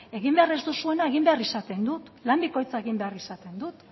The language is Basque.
egin behar ez duena egin behar izaten dut lan bikoitza egin behar izaten dut